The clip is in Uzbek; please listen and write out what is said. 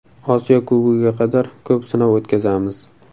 Osiyo Kubogiga qadar ko‘p sinov o‘tkazamiz.